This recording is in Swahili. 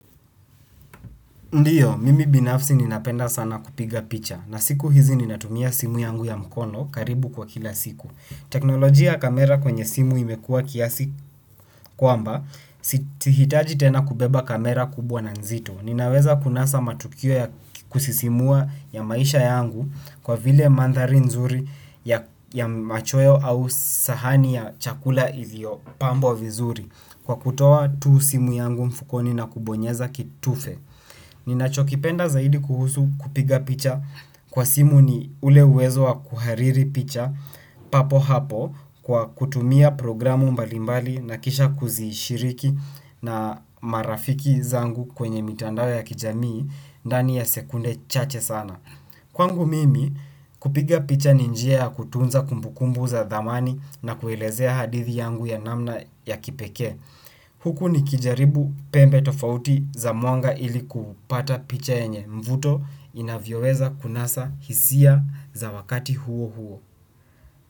Ndiyo, mimi binafsi ninapenda sana kupiga picha. Na siku hizi ninatumia simu yangu ya mkono karibu kwa kila siku. Teknolojia ya kamera kwenye simu imekua kiasi kwamba, sihitaji tena kubeba kamera kubwa na nzito. Ninaweza kunasa matukio ya kusisimua ya maisha yangu kwa vile maandhari nzuri ya machweo au sahani ya chakula iliyo pambwa vizuri. Kwa kutoa tu simu yangu mfukoni na kubonyeza kitufe. Ninacho kipenda zaidi kuhusu kupiga picha kwa simu ni ule uwezo wa kuhariri picha papo hapo kwa kutumia programu mbalimbali na kisha kuzishiriki na marafiki zangu kwenye mitandao ya kijamii ndani ya sekunde chache sana. Kwangu mimi kupiga picha ni njia ya kutunza kumbukumbu za dhamani na kuelezea hadithi yangu ya namna ya kipekee. Huku nikijaribu pembe tofauti za mwanga ili kupata picha yenye mvuto inavyoweza kunasa hisia za wakati huo huo.